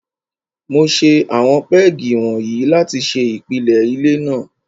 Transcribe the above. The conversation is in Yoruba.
Mo ṣe àwọn pégì wọ̀nyí láti ṣe ìpìlẹ ilé náà.